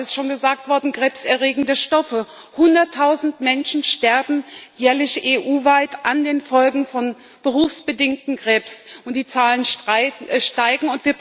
Oder auch es ist schon gesagt worden krebserregende Stoffe Hunderttausend Menschen sterben jährlich EU weit an den Folgen von berufsbedingtem Krebs, und die Zahlen steigen.